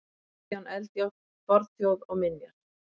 Kristján Eldjárn: Fornþjóð og minjar.